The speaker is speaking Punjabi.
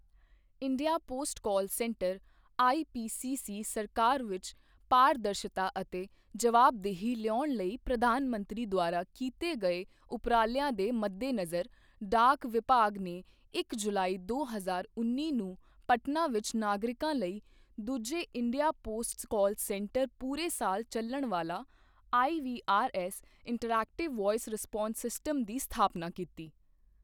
India post call centre IPCC ਸਰਕਾਰ ਵਿੱਚ ਪਾਰਦਰਸ਼ਤਾ ਅਤੇ ਜਵਾਬਦੇਹੀ ਲਿਆਉਣ ਲਈ ਪ੍ਰਧਾਨ ਮੰਤਰੀ ਦੁਆਰਾ ਕੀਤੇ ਗਏ ਉਪਰਾਲਿਆਂ ਦੇ ਮੱਦੇਨਜ਼ਰ, ਡਾਕ ਵਿਭਾਗ ਨੇ ਇੱਕ ਜੁਲਾਈ ਦੋ ਹਜ਼ਾਰ ਉੱਨੀ ਨੂੰ ਪਟਨਾ ਵਿੱਚ ਨਾਗਰਿਕਾਂ ਲਈ ਦੂਜੇ ਇੰਡੀਆ ਪੋਸਟ ਕਾਲ ਸੈਂਟਰ ਪੂਰੇ ਸਾਲ ਚੱਲਣ ਵਾਲਾ IVRS interactive voice response system ਦੀ ਸਥਾਪਨਾ ਕੀਤੀ।